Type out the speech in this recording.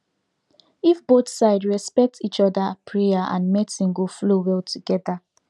if both side respect each other prayer and medicine go flow well together